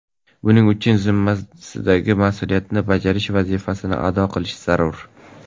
Buning uchun zimmadagi mas’uliyatni bajarish, vazifani ado qilish zarur.